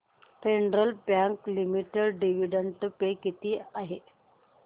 federal Bank Limited dividend pay किती आहे